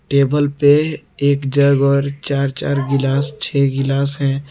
Table पे एक jug और चार-चार गिलास और छह गिलास है।